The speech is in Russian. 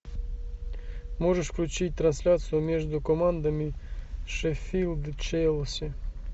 можешь включить трансляцию между командами шеффилд челси